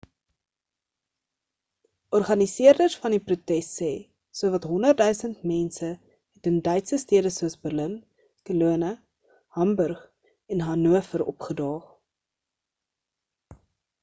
organiseerders van die protes sê sowat 100,000 mense het in duitse stede soos berlin cologne hamburg en hanover opgedaag